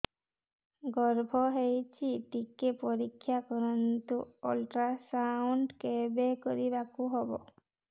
ଗର୍ଭ ହେଇଚି ଟିକେ ପରିକ୍ଷା କରନ୍ତୁ ଅଲଟ୍ରାସାଉଣ୍ଡ କେବେ କରିବାକୁ ହବ